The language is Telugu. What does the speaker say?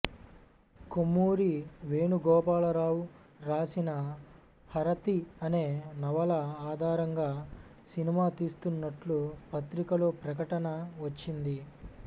కొమ్మూరి వేణుగోపాలరావు రాసిన హారతి అనే నవల ఆధారంగా సినిమా తీస్తున్నట్లు పత్రికలో ప్రకటన వచ్చింది